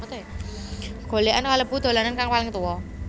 Golékan kalebu dolanan kang paling tuwa